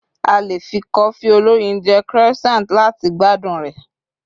a lè fi cofi oloyin je croissant lati gbádùn rẹ